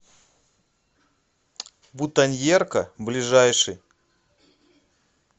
бутоньерка ближайший